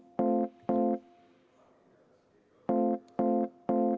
Palun võtta seisukoht ja hääletada!